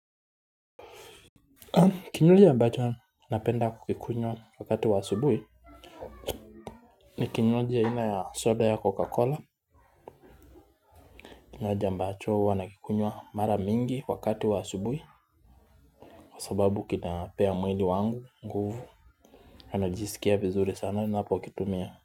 Kinywaji ambacho napenda kukikunywa wakati wa asubuhi ni kinywaji aina ya soda ya coca cola kinywaji ambacho huwa nakikunywa mara mingi wakati wa asubuhi. Kwa sababu kinapea mwili wangu nguvu najisikia vizuri sana ninapokitumia.